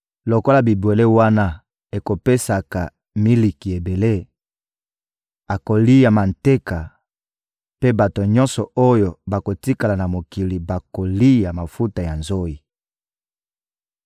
Lokola bibwele wana ekopesaka miliki ebele, akolia manteka; mpe bato nyonso oyo bakotikala na mokili bakolia mafuta ya nzoyi.